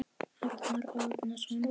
Arnar Árnason